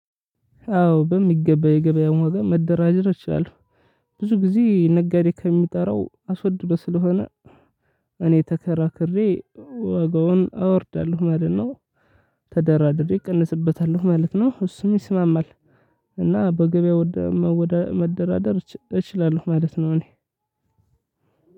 አዎ በሚገባ የገበያውን ዋጋ መደራደር እችላለው። ብዙ ጊዜ ነጋዴ ከሚጠራው አስወድዶ ስለሆነ። እኔ ተከራክሬ ዋጋውን አወርዳለሁ ማለት ነው። ተደራድሬ እቀንስበታለሁ ማለት ነው እሱም ይስማማል። እና በገበያ መደራደር እችላለሁ ማለት ነው። እኔ